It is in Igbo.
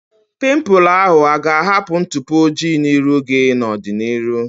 Pimpụl ahu aga ahapụ ntụpọ ojii n'iru gị na ọdịnihu?